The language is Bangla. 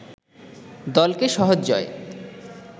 দলকে সহজ জয়